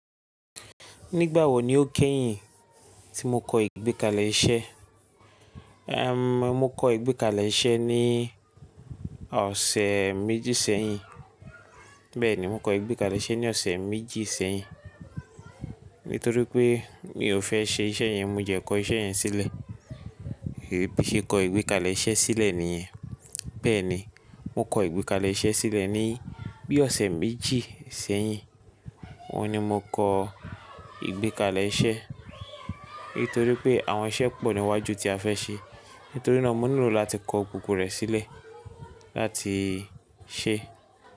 Nígbà wo ni o kẹ́yìn tí mo kọ ìgbékalẹ̀ iṣẹ́? Ehn, mo kọ ìgbékalẹ̀ iṣẹ́ ní ọ̀sẹ̀ méjì sẹ́yìn. Bẹ́ẹ̀ni, mo kọ ìgbékalẹ̀ iṣẹ́ ní ọ̀sẹ̀ méjì sẹ́yìn. Nítorí pé mi ò fẹ́ ṣe iṣẹ́ yẹn, mo jẹ kọ iṣẹ́ yẹn sílẹ̀. Bi n ṣe kọ ìgbékalẹ̀ iṣẹ́ sílẹ̀ nìyẹn. Bẹ́ẹ̀ni, mo kọ ìgbékalẹ̀ iṣẹ́ sílẹ̀ ní bí ọ̀sẹ̀ méjì sẹ́yìn. Óun ni mo kọ ìgbékalẹ̀ iṣẹ́. Nítorí pé àwọn iṣẹ́ pọ̀ níwájú tí a fẹ́ ṣe. Nítorí náà mo nílò láti kọ gbogbo rẹ̀ sílẹ̀ láti ṣe.